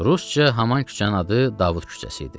Rusca haman küçənin adı Davud küçəsi idi.